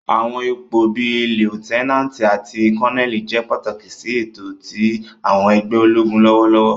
Àwọn ipo bii Liutenanti ati Koneli jẹ pataki si eto ti àwọn ẹgbẹ ologun lọwọlọwọ.